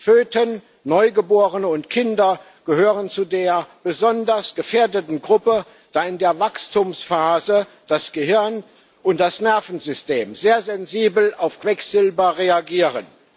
Föten, Neugeborene und Kinder gehören zu der besonders gefährdeten Gruppe, da in der Wachstumsphase das Gehirn und das Nervensystem sehr sensibel auf Quecksilber reagieren.